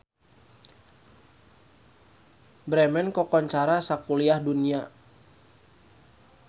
Bremen kakoncara sakuliah dunya